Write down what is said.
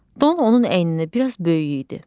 Don onun əyninə biraz böyük idi.